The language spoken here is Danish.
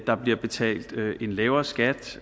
der bliver betalt en lavere skat